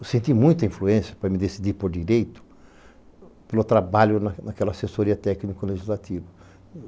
Eu senti muita influência para me decidir por direito pelo trabalho naquela assessoria técnico-legislativa.